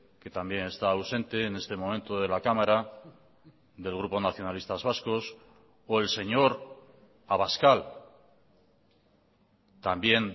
que también está ausente en este momento de la cámara del grupo nacionalistas vascos o el señor abascal también